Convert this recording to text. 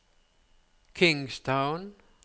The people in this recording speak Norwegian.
Kingstown